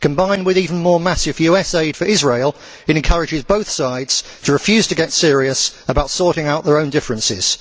combined with even more massive US aid for Israel it encourages both sides to refuse to get serious about sorting out their own differences.